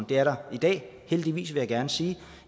det er der i dag heldigvis vil jeg gerne sige